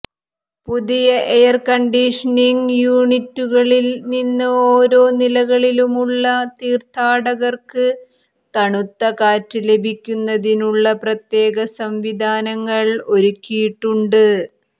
പുതിയ എയർകണ്ടീഷനിങ് യൂനിറ്റുകളിൽ നിന്ന് ഒരോ നിലകളിലുമുള്ള തീർഥാടകർക്ക് തണുത്ത കാറ്റ് ലഭിക്കുന്നതിനുള്ള പ്രത്യേക സംവിധാനങ്ങൾ ഒരുക്കിയിട്ടുണ്ട്